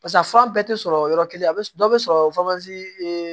Pasa fura bɛɛ tɛ sɔrɔ yɔrɔ kelen a bɛ dɔ bɛ sɔrɔ